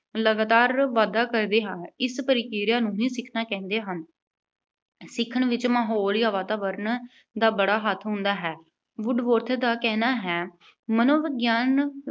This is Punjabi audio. ਲਗਾਤਾਰ ਵਾਧਾ ਕਰਦੇ ਹਾਂ। ਇਸ ਪ੍ਰਕਿਰਿਆ ਨੂੰ ਹੀ ਸਿੱਖਣਾ ਕਹਿੰਦੇ ਹਨ। ਸਿੱਖਣ ਵਿੱਚ ਮਾਹੌਲ ਜਾਂ ਵਾਤਾਵਰਣ ਦਾ ਬੜਾ ਹੱਥ ਹੁੰਦਾ ਹੈ। Woodworth ਦਾ ਕਹਿਣਾ ਹੈ, ਮਨੋਵਿਗਿਆਨ